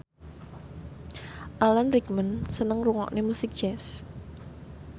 Alan Rickman seneng ngrungokne musik jazz